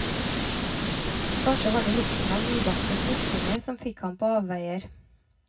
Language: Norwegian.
Kanskje var det lukten av nybakte smultringer som fikk ham på avveier.